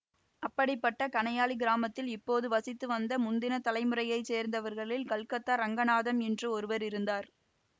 அப்படிப்பட்ட கணையாழி கிராமத்தில் இப்போது வசித்து வந்த முந்தின தலைமுறையை சேர்ந்தவர்களில் கல்கத்தா ரங்கநாதம் என்று ஒருவர் இருந்தார்